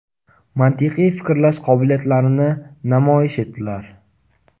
mantiqiy fikrlash qobiliyatlarini namoyon etdilar.